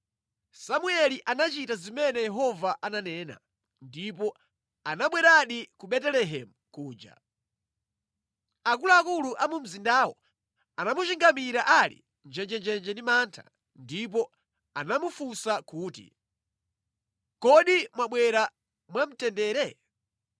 Samueli anachita zimene Yehova ananena, ndipo anabweradi ku Betelehemu kuja. Akuluakulu a mu mzindawo anamuchingamira ali njenjenje ndi mantha ndipo anamufunsa kuti, “Kodi mwabwera mwa mtendere?”